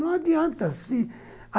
Não adianta, se